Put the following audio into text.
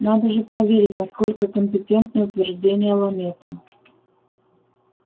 надо же проверить насколько компетентны утверждения ламета